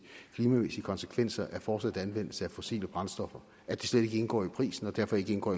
klimamæssige konsekvenser af fortsat anvendelse af fossile brændstoffer slet ikke indgår i prisen og derfor ikke indgår